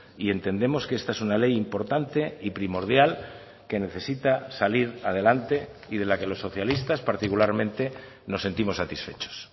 y entendemos que esta es una ley importante y primordial que necesita salir adelante y de la que los socialistas particularmente nos sentimos satisfechos